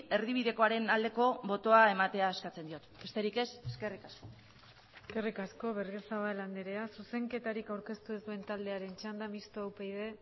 erdibidekoaren aldeko botoa ematea eskatzen diot besterik ez eskerrik asko eskerrik asko berriozabal andrea zuzenketarik aurkeztu ez duen taldearen txanda mistoa upyd